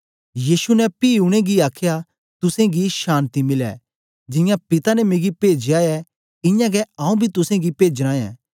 यीशु ने पी उनेंगी आखया तुसेंगी शान्ति मिलै जियां पिता ने मिगी पेजया ऐ इयां गै आऊँ बी तुसेंगी पेजना ऐं